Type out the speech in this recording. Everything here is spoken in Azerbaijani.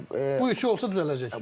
Yəni Bu üçü olsa düzələcək.